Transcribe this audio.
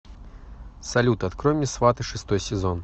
салют открой мне сваты шестой сезон